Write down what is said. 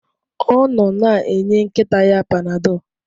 Ọ nọ na-enye nkịta ya Panadol.